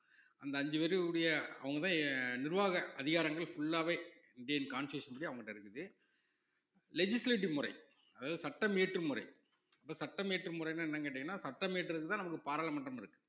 அந்த அஞ்சு உடைய அவங்கதான் நிர்வாக அதிகாரங்கள் full ஆவே இந்தியன் constitution படி அவங்ககிட்ட இருக்குது legislative முறை அதாவது சட்டம் இயற்றும் முறை இப்ப சட்டம் இயற்றும் முறைன்னா என்னன்னு கேட்டீங்கன்னா சட்டம் இயற்றுவதுதான் நமக்கு பாராளுமன்றம் இருக்கு